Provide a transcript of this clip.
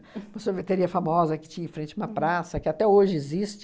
Uma sorveteria famosa que tinha em frente a uma praça, que até hoje existe.